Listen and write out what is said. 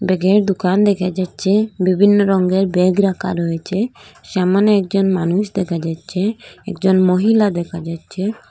এখেনে দুকান দেখা যাচ্চে বিভিন্ন রঙ্গের ব্যাগ রাখা রয়েচে সামোনে একজন মানুষ দেখা যাচ্চে একজন মহিলা দেখা যাচ্চে।